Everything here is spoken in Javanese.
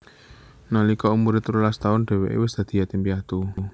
Nalika umure telulas taun dheweke wis dadi yatim piatu